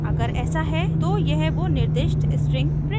अगर ऐसा है तो यह वो निर्दिष्ट string प्रिंट करेगा